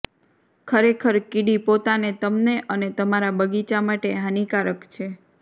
ખરેખર કીડી પોતાને તમને અને તમારા બગીચા માટે હાનિકારક છે